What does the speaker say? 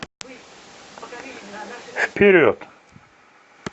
вперед